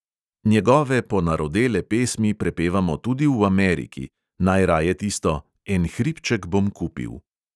Njegove ponarodele pesmi prepevamo tudi v ameriki, najraje tisto "en hribček bom kupil" ...